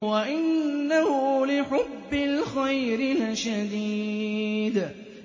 وَإِنَّهُ لِحُبِّ الْخَيْرِ لَشَدِيدٌ